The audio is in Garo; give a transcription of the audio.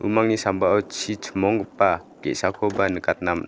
umangni sambao chi chimonggipa ge·sakoba nikatna man--